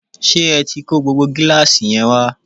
ṣé ẹ tí kó gbogbo gíláàsì yẹn wá?